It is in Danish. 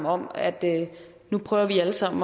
om at nu prøver vi alle sammen